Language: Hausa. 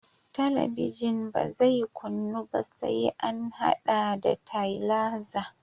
Talabijin ba zai kunnu ba sai an haɗa ta da tailaza